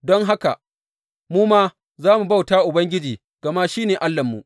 Don haka mu ma za mu bauta wa Ubangiji, gama shi ne Allahnmu.